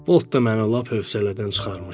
Bolt da mənə lap hövsələdən çıxarmışdı.